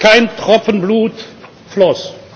fiel, kein Tropfen Blut floss.